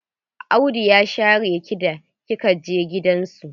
Audu ya share ki da kika je gidan su?